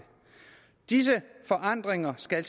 disse forandringer skal